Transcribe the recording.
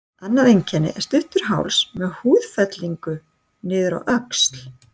Annað einkenni er stuttur háls með húðfellingu niður á öxl.